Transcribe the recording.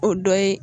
O dɔ ye